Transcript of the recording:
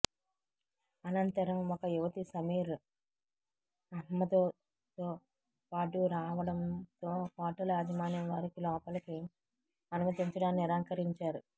అనంతరం ఒక యువతి సమీర్ అహ్మద్తో పాటు రావడంతో హోటల్ యాజమాన్యం వారిని లోపలికి అనుమతించడానికి నిరాకరించారు